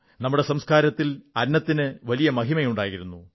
നമ്മുടെ സംസ്കാരത്തിൽ അന്നത്തിന് വലിയ മഹിമയുണ്ടായിരുന്നു